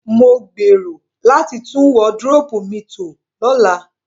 Mo gbèrò láti tún wardrobe mi to lọ́la